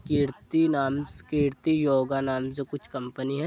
कीर्ति नामस- कीर्ति योगा नाम से कुछ कंपनी हैं।